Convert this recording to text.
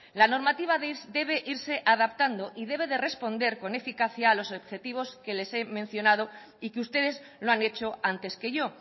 la normativa debe irse adaptando y debe de responder con eficacia a los objetivos que les he mencionado y que ustedes lo han hecho antes que yo